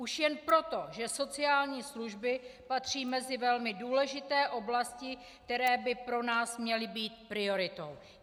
Už jen proto, že sociální služby patří mezi velmi důležité oblasti, které by pro nás měly být prioritou.